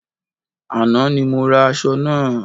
Àná ni mo ra aṣọ náà